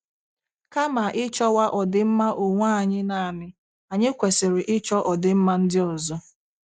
Kama ịchọwa ọdịmma onwe anyị naanị, anyị kwesịrị ịchọ ọdịmma ndị ọzọ.